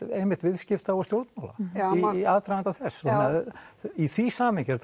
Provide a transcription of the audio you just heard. viðskipta og stjórnmála í aðdraganda þess í því samhengi er